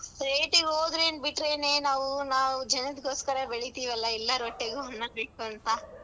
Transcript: ಪೇಟೆಗೆ ಹೋದ್ರೇನ್ ಬಿಟ್ರೇನೇ ನಾವು ನಾವ್ ಜನದ್ ಗೋಸ್ಕರ ಬೆಳಿತೀವಲ್ಲಾ ಎಲ್ಲಾರೊಟ್ಟೆಗೂ .